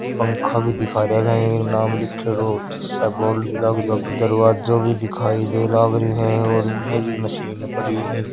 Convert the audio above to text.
पंखा भी दिखाई दे रहा है नाम लिख रहे हो तो सब बोल्ड भी लग रहे हो दरवाजा भी दिखाई लग रहे हो और इने भी मशीन पड़े हैं।